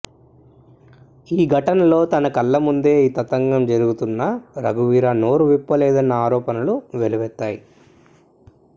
ఈ ఘటనలో తన కళ్ల ముందే ఈ తతంగం జరుగుతున్నా రఘువీరా నోరు విప్పలేదన్న ఆరోపణలు వెల్లువెత్తాయి